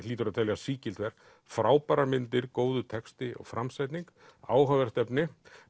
hlýtur að teljast sígilt verk frábærar myndir góður texti og framsetning áhugavert efni